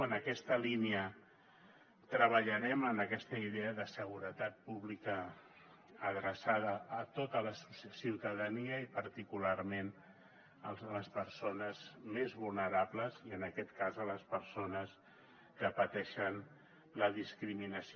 en aquesta línia treballarem en aquesta idea de seguretat pública adreçada a tota la ciutadania i particularment a les persones més vulnerables i en aquest cas a les persones que pateixen la discriminació